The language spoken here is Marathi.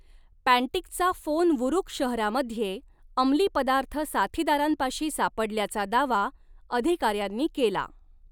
पँटिकचा फोन वुरूक शहरामध्ये अमली पदार्थ साथीदारांपाशी सापडल्याचा दावा अधिकाऱ्यांनी केला.